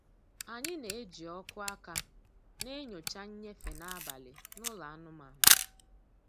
Anyị na-eji ọkụ aka na-enyocha nnyefe n'abalị na ụlọ anụmanụ.